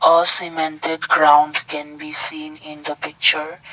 A cemented ground can be seen in picture.